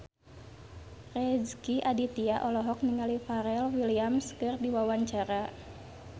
Rezky Aditya olohok ningali Pharrell Williams keur diwawancara